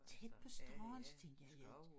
Tæt på strøget så tænkte jeg